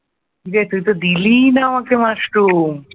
কিরে তুই তো দিলিই না আমাকে মাশরুম।